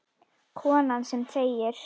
Konan sem þegir.